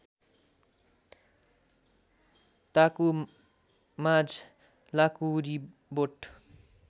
ताकु माझ लाँकुरिबोट